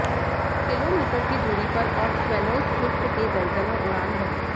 kilometre की दूरी पर और स्वैलोज़ स्विफ्ट के दर्जनों उड़ान भरें